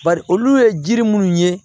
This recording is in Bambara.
Bari olu ye jiri minnu ye